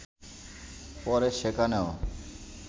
পরে সেখানেও